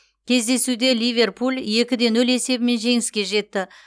кездесуде ливерпуль екі де нөл есебімен жеңіске жетті